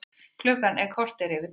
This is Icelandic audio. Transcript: Klukkan korter yfir tólf